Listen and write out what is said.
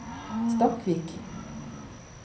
Stakkvik